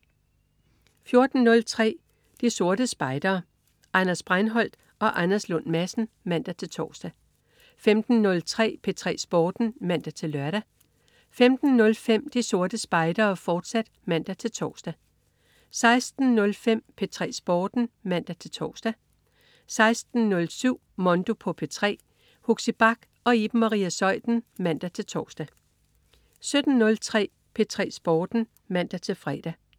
14.03 De Sorte Spejdere. Anders Breinholt og Anders Lund Madsen (man-tors) 15.03 P3 Sporten (man-lør) 15.05 De Sorte Spejdere, fortsat (man-tors) 16.05 P3 Sporten (man-tors) 16.07 Mondo på P3. Huxi Bach og Iben Maria Zeuthen (man-tors) 17.03 P3 Sporten (man-fre)